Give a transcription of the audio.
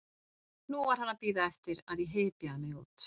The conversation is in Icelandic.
Nú var hann að bíða eftir að ég hypjaði mig út.